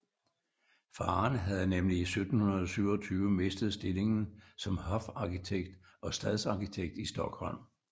Faderen havde nemlig i 1727 mistet stillingen som hofarkitekt og stadsarkitekt i Stockholm